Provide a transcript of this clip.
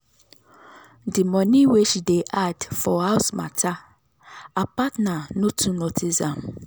the money wey she dey add for house matter her partner no too notice am.